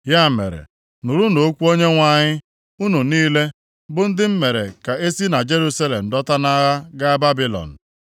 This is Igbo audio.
Ya mere, nụrụnụ okwu Onyenwe anyị, unu niile bụ ndị m mere ka e si na Jerusalem dọta nʼagha gaa Babilọn.